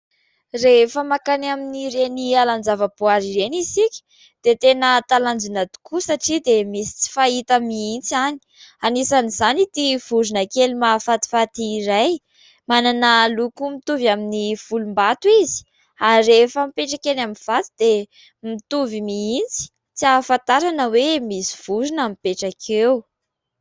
Rehefa mankany amin'ny ireny alan-javam-boary ireny isika dia tena talanjina tokoa satria dia misy tena tsy fahita mihintsy any, anisan' izany ity vorona kely mahafatifaty iray, manana loko mitovy amin'ny volom-bato izy ary rehefa mipetraka any amin'ny vato dia mitovy mihintsy tsy hahafantarana hoe misy vorona mipetraka eo.